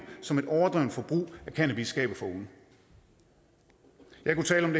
som et overdrevent forbrug af cannabis skaber for unge jeg kunne tale om